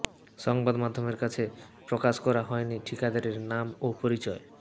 সংবাদ মাধ্যমের কাছে প্রকাশ করা হয়নি ঠিকাদারের নাম ও পরিচয়